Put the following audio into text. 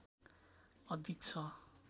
अधिक छ